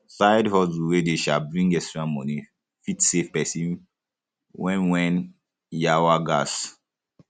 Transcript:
side hustle wey dey um bring extra money come fit save person when when um yawa um gas